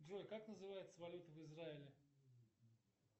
джой как называется валюта в израиле